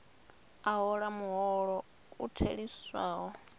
a hola muholo u theliswaho